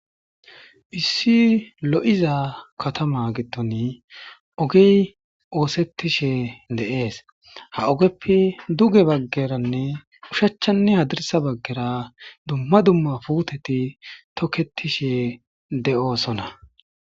issi lo7iza katama gitton ogey oosettishe deees ha ogeppe duge baggeranne ushachchanne hadirsa baggera dumma dumma puteti tokketishe de7oosona